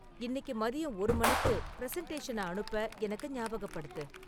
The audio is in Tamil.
இன்னிக்கு மதியம் ஒரு மணிக்கு பிரசன்டேஷன அனுப்ப எனக்கு ஞாபாகப்படுத்து